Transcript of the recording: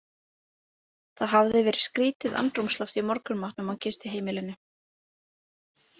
Það hafði verið skrítið andrúmsloft í morgunmatnum á gistiheimilinu.